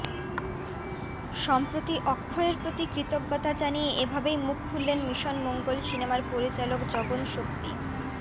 সম্প্রতি অক্ষয়ের প্রতি কৃতজ্ঞতা জানিয়ে এভাবেই মুখ খুললেন মিশন মঙ্গল সিনেমার পরিচালক জগন শক্তি